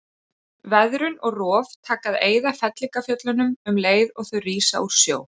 Veðrun og rof taka að eyða fellingafjöllunum um leið og þau rísa úr sjó.